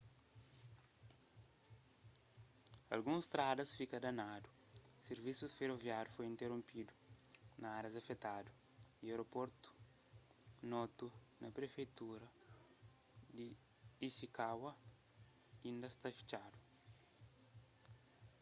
alguns stradas fika danadu sirvisus feroviáriu foi interonpidu na árias afetadu y aeroportu noto na prefeitura di ishikawa inda sta fitxadu